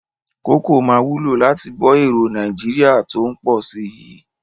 Kókò máa wúlò láti bọ́ èròo Nàìjíríà tó ń pọ̀ si yii